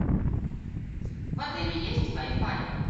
в отеле есть вай фай